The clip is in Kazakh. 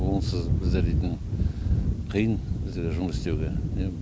онсыз біздер дейтін қиын бізге жұмыс істеуге иә